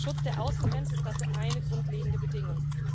Der Schutz der Außengrenze ist dafür eine grundlegende Bedingung.